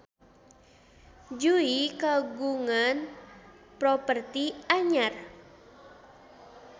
Jui kagungan properti anyar